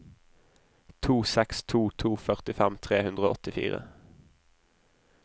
to seks to to førtifem tre hundre og åttifire